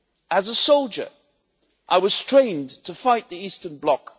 As a soldier, I was trained to fight the Eastern bloc.